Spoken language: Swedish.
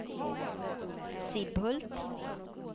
Sibbhult